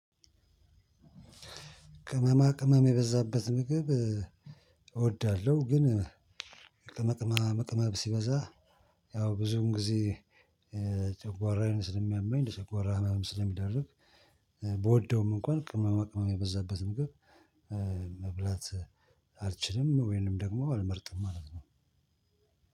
ቅመማ ቅመም የበዛበት ምግብ እወዳለሁ ግን ቅመቅማ መቅማ ሲበዛ ያው ብዙም ጊዜ ጨጓራዬን ስለሚያመኝ ጨጓራ ራህመም ስለሚደረግ። ብወደውም እንኳን ቅመመ ቅመመ የበዛበት ምግብ እ መብላት አልችልም ወይንም ደግሞ አልመርጥም ማለት ነው።